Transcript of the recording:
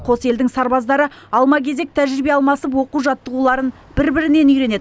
қос елдің сарбаздары алма кезек тәжірибе алмасып оқу жаттығуларын бір бірінен үйренеді